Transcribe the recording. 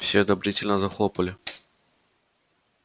все одобрительно захлопали